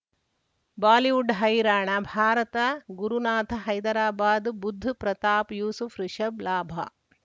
Bollywood ಹೈರಾಣ ಭಾರತ ಗುರುನಾಥ ಹೈದರಾಬಾದ್ ಬುಧ್ ಪ್ರತಾಪ್ ಯೂಸುಫ್ ರಿಷಬ್ ಲಾಭ